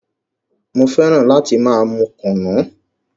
Mo fẹ́ràn láti máa mú kùnú.